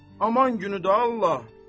Aman günü də Allah.